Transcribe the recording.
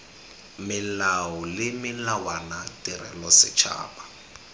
melao le melawana tirelo setšhaba